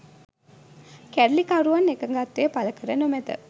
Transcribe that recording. කැරලිකරුවන් එකඟත්වය පළ කර නොමැත